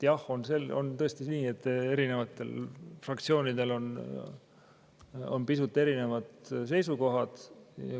Jah, on tõesti nii, et erinevatel fraktsioonidel on pisut erinevad seisukohad.